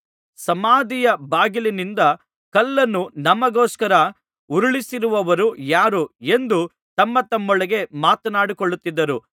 ಸಮಾಧಿಯ ಬಾಗಿಲಿನಿಂದ ಕಲ್ಲನ್ನು ನಮಗೋಸ್ಕರ ಉರುಳಿಸುವವರು ಯಾರು ಎಂದು ತಮ್ಮತಮ್ಮೊಳಗೆ ಮಾತನಾಡಿಕೊಳ್ಳುತ್ತಿದ್ದರು